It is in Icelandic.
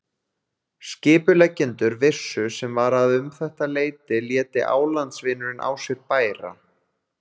Skipuleggjendur vissu sem var að um þetta leyti léti álandsvindurinn á sér bæra.